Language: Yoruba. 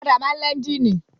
Ọ̀kadà máa ń ní ẹ́ńjínì.